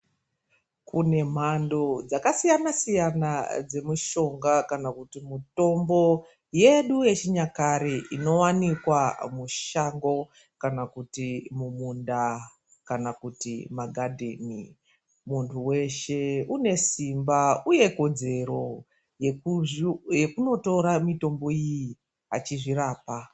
Kune mhando dzakasiyana siyana dzemushonga kana kuti mutombo yedu yechinyakare inowanikwa mushango kana kuti mumunda kana kuti maghadheni. Muntu weshe une simba uye kodzero yekunotora mitombo iyi achizvirapa.